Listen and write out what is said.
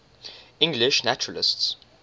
english naturalists